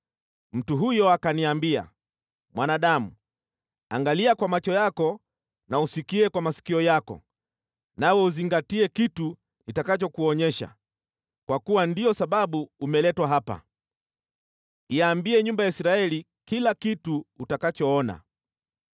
Mtu huyo akaniambia, “Mwanadamu, angalia kwa macho yako na usikie kwa masikio yako nawe uzingatie kitu nitakachokuonyesha, kwa kuwa ndiyo sababu umeletwa hapa. Iambie nyumba ya Israeli kila kitu utakachoona.”